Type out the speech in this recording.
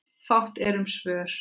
Fátt er um svör.